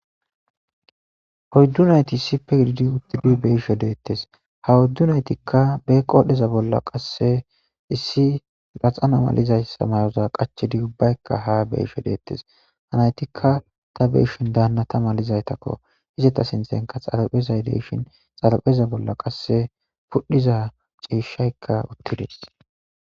hoyddunayti isipe ridi uttidi beisho deettes ha woddunaytikka be qodheza bolla qasse issi laxana malizaysa mayoza qachedi ubbaykka haa beyisho deettes hanaytikka ta beshin daanna ta malizaytakko hizeta sinthenka xalapezay deyshin xalapheza bolla qasse pudhiza ciishshaykka uttides